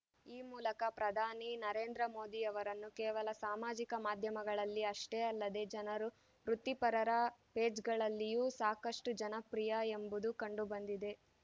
ಈ ಮೂಲಕ ಪ್ರಧಾನಿ ನರೇಂದ್ರ ಮೋದಿ ಅವರನ್ನು ಕೇವಲ ಸಾಮಾಜಿಕ ಮಾಧ್ಯಮಗಳಲ್ಲಿ ಅಷ್ಟೇ ಅಲ್ಲದೇ ಜನರು ವೃತ್ತಿಪರರ ಪೇಜ್‌ಗಳಲ್ಲಿಯೂ ಸಾಕಷ್ಟುಜನಪ್ರಿಯ ಎಂಬುದು ಕಂಡುಬಂದಿದೆ